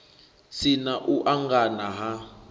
si na u angana ha